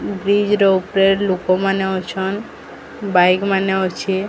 Bridge ର ଉପ୍ରେ ଲୋକୋ ମାନେ ଅଛନ୍ ବାଇକ୍ ମାନେ ଅଛେ।